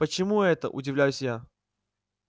почему это удивляюсь я